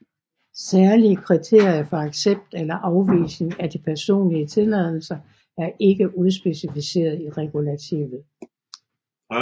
Særlige kriterier for accept eller afvisning af de personlige tilladelser er ikke udspecificeret i regulativet